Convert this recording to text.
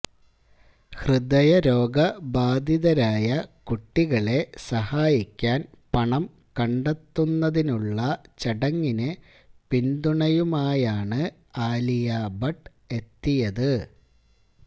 ഹൃദയരോഗ ബാധിതരായ കുട്ടികളെ സഹായിക്കാൻ പണം കണ്ടെത്തുന്നതിനുള്ള ചടങ്ങിന് പിന്തുണയുമായാണ് ആലിയ ഭട്ട് എത്തിയത്